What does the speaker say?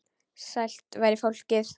Sælt veri fólkið!